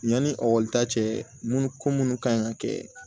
Yanni ekɔli ta cɛ munnu ko munnu ka ɲi ka kɛ